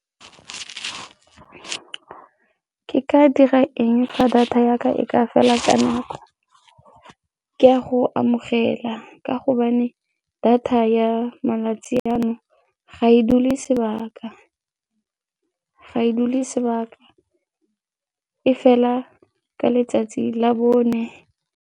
Ke ka dira eng fa data ya ka e ka fela ka bonako? Ke a go amogela ka gobane data ya malatsi a jaanong ga e dule sebaka, ga e dule sebaka, e fela ka letsatsi la bone.